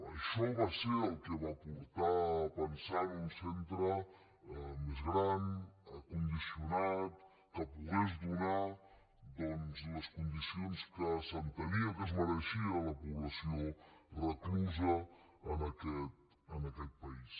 això va ser el que va portar a pensar en un centre més gran condicionat que pogués donar doncs les condicions que s’entenia que es mereixia la població reclusa en aquest país